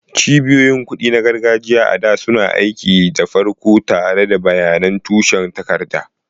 Cibiyoyin kuɗi na gargajiya, a da, suna aiki da farko tare da bayanan tushen takarda.